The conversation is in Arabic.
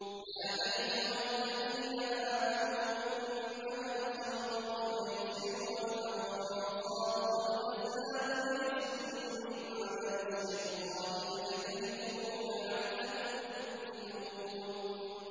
يَا أَيُّهَا الَّذِينَ آمَنُوا إِنَّمَا الْخَمْرُ وَالْمَيْسِرُ وَالْأَنصَابُ وَالْأَزْلَامُ رِجْسٌ مِّنْ عَمَلِ الشَّيْطَانِ فَاجْتَنِبُوهُ لَعَلَّكُمْ تُفْلِحُونَ